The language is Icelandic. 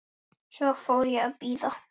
Svo fór ég að bíða.